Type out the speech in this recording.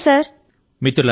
ధన్యవాదాలు సర్